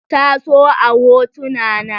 Ta so a hotuna na.